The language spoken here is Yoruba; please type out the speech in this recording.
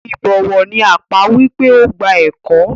Ìbọ̀wọ̀ ni àpá wipe o gba ẹkọ.